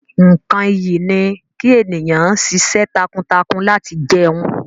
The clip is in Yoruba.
Nkán ìyí ni ki eniyan ṣiṣẹ́ takuntakun lati jẹun.